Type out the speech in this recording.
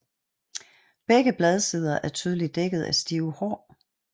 Begge bladsider er tydeligt dækket af stive hår